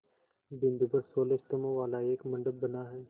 बिंदु पर सोलह स्तंभों वाला एक मंडप बना है